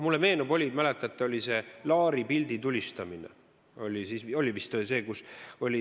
Mulle meenub, mäletate, see, kui Laar Savisaare pilti tulistas.